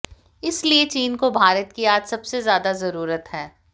इसलिए चीन को भारत की आज सबसे ज्यादा जरूरत है